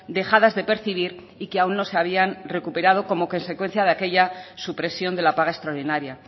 dejadas de percibir y que aún no se habían recuperado como consecuencia de aquella supresión de la paga extraordinaria